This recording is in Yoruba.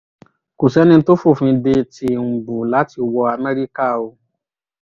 kò sẹ́ni tó fòfin de tìǹbù láti wọ amẹ́ríkà o